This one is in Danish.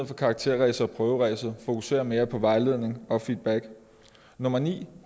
for karakterræset og prøveræset og fokusere mere på vejledning og feedback nummer ni